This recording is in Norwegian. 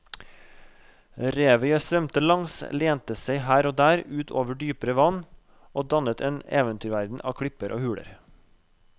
Revet jeg svømte langs lente seg her og der ut over dypere vann og dannet en eventyrverden av klipper og huler.